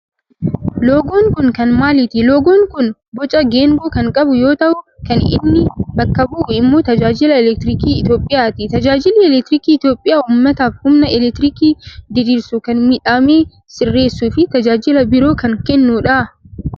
loogoon kun kan maaliiti? loogoon kun boca geengoo kan qabu yoo ta'u kan inni bakka bu'u immoo tajaajila elektirikii Itiyoophiyaati. Tajaajilli elektirikii Itiyoophiyaa ummataaf humna elektirikii diriirsuu, kan miidhame sireessuu fi tajaajila biroo kan kennudha.